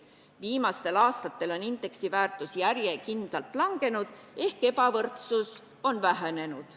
Viimastel aastatel on indeksi väärtus järjekindlalt langenud ehk ebavõrdsus on vähenenud.